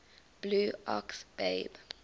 blue ox babe